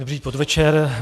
Dobrý podvečer.